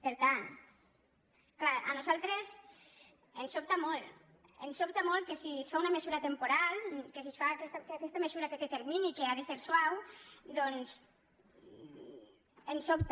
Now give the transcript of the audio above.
per tant clar a nosaltres ens sobta molt ens sobta molt que si es fa una mesura temporal que aquesta mesura que té termini i que ha de ser suau doncs ens sobta